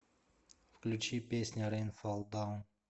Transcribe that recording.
включи песня рэйн фол даун